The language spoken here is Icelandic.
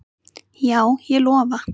Já, ég lofa